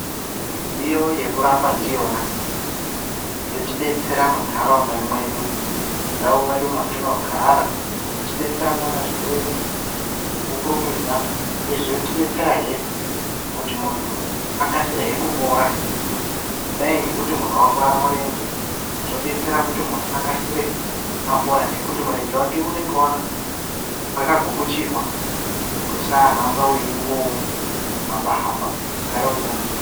Midziyo yekurapa ndiyona yotibetsera muntaraunda mwedu mundau mwedu mwatinogara. Yotibetsera kuona zvirwere ngekukurumidza, uyezve yotibetserahe kuti muntu akasire kupora. Kudai ngekuti muntu vakuvara murenje zvobetsera kuti muntu akasire apora ngekuti murenje vake unonga vakagukuchirwa. Kuti usahamba veingo hamba-hamba ugare uri panzvimbo.